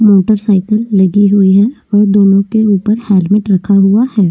Motor cycle लगी हुई है और दोनों के ऊपर हेलमेट रखा हुआ है।